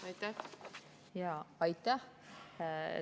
Aitäh!